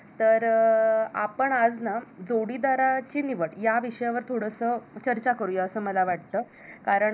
तर अं आपण आज ना जोडीदाराची निवड या विषयावर थोडसं चर्चा करूया असं मला वाटत, कारण